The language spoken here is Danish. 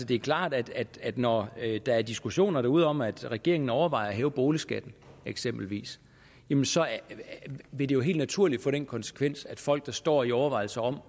det er klart at når der er diskussioner derude om at regeringen overvejer at hæve boligskatterne eksempelvis jamen så vil det jo helt naturligt få den konsekvens at folk der står i overvejelser om